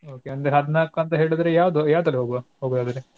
Okay ಒಂದ್ ಹದ್ನಾಲ್ಕು ಅಂತ ಹೇಳಿದ್ರೆ ಯಾವ್ದು ಯಾವದ್ರಲ್ಲಿ ಹೋಗುವ ಹೋಗುವ ಹಾಗಾದ್ರೆ?